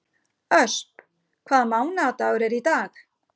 Ösp, hvaða mánaðardagur er í dag?